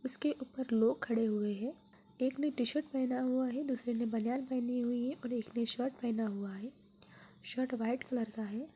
उसके ऊपर लोग खड़े हुए हैं एक ने टीशर्ट पहना हुआ है दूसरे ने बनियान पहनी हुई है और एक ने शर्ट पहना हुआ है शर्ट वाइट कलर का है।